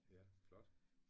Ja flot